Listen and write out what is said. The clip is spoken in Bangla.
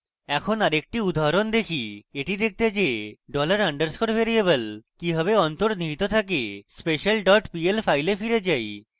এখন আরেকটি উদাহরণ দেখি এটি দেখতে যে $_ dollar underscore ভ্যারিয়েবল কিভাবে অন্তর্নিহিত থাকে special dot pl file এ ফিরে যায়